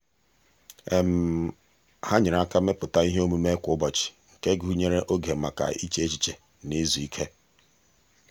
ha nyere aka mepụta ihe omume kwa ụbọchị nke gụnyere oge maka iche echiche na izu ike.